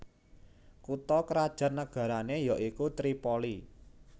Kutha krajan nagarané ya iku Tripoli